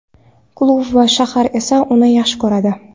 Klub va shahar esa uni yaxshi ko‘radi.